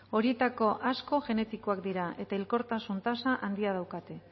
horietako asko genetikoak dira eta hilkortasun tasa handia daukate